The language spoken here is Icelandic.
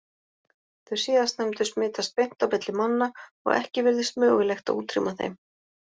Þau síðastnefndu smitast beint á milli manna og ekki virðist mögulegt að útrýma þeim.